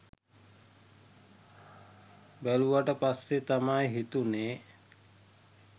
බැලුවට පස්සෙ තමා හිතුනෙ